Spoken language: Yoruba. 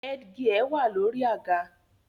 The headgear is on the chair